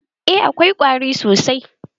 Eh, akwai ƙwari sosai.